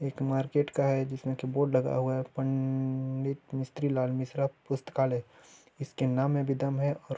एक मार्केट का है जिसमें की बोर्ड लगा हुआ है पं--डित मिश्री लाल मिश्रा पुस्तकालय इसके नाम में भी दम है। और --